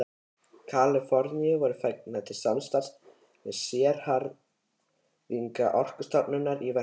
Kaliforníu voru fengnir til samstarfs við sérfræðinga Orkustofnunar í verkinu.